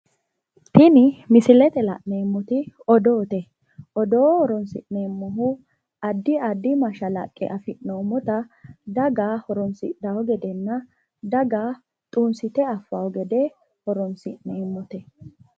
Tini misilete la'neemmoti odoote odoo horoonsi'neemmohu addi addi mashalaqqe afi'noommota daga horoonsidhanno gedenna daga xunsite affanno gede horoonsi'neemmote.